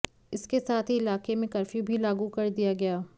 इसके साथ ही इलाके में कर्फ्यू भी लागू कर दिया गया